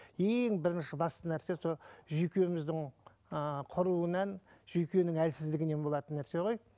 ең бірінші басты нәрсе сол жүйкеміздің ыыы құруынан жүйкенің әлсіздігінен болатын нәрсе ғой